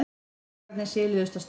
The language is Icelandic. Krakkarnir siluðust af stað.